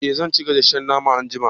eh zan ci gasasshen nama anjima